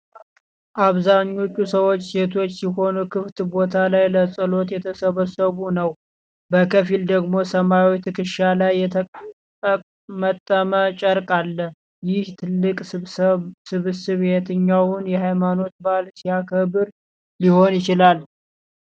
አብዛኞቹ ሰዎች ሴቶች ሲሆኑ ክፍት ቦታ ላይ ለጸሎት የተሰበሰቡ ነው፤ በከፊል ደግሞ ሰማያዊ ትከሻ ላይ የተጠመጠመ ጨርቅ አለ። ይህ ትልቅ ስብስብ የትኛውን የሃይማኖታዊ በዓል ሲያከብር ሊሆን ይችላል?